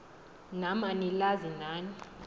nam anilazi nani